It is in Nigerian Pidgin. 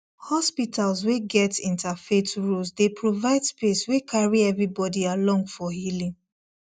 hospitals wey get interfaith rules dey provide space wey carry everybody along for healing